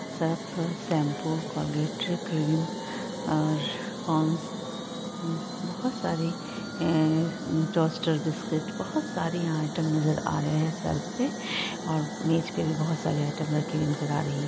Surf shampoo Colgate cream और Pond's बहुत सारी हम्म टोस्टर बिस्कुट बहुत सारी आइटम नजर आ रही हैं सर पे और मेज पे भी बहुत सारी आइटम रखे हुए नजर आ रही है।